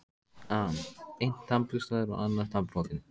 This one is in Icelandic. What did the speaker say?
an: Einn tannburstaður og annar tannbrotinn.